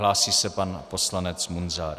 Hlásí se pan poslanec Munzar.